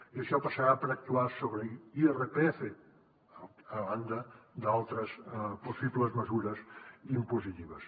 i això passarà per actuar sobre l’irpf a banda d’altres possibles mesures impositives